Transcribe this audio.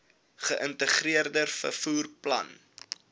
geïntegreerde vervoer plan